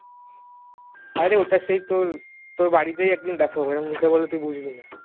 অরে ওটা সেই তোর তোর বাড়িতে দেখাবো মুখে বললে তুই বুঝবি না